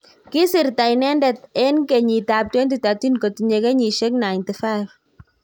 Kisirta inedet en keyit ap 2013 kotinye keyisiek 95.